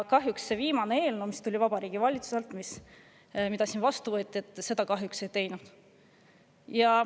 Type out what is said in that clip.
Kahjuks see viimane eelnõu, mis Vabariigi Valitsusest tuli ja mis siin vastu võeti, seda ei teinud.